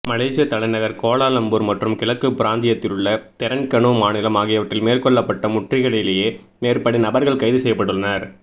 மலேஷியத் தலைநகர் கோலாலம்பூர் மற்றும் கிழக்குப் பிராந்தியத்திலுள்ள தெரென்கனு மாநிலம் ஆகியவற்றில் மேற்கொள்ளப்பட்ட முற்றுகைகளிலேயே மேற்படி நபர்கள் கைது செய்யப்பட்டுள்ளனர்